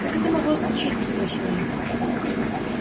как это могло случиться спросил я